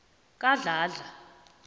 kadladla